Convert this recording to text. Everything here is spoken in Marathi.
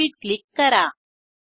प्रोसीड क्लिक करा